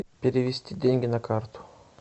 перевести деньги на карту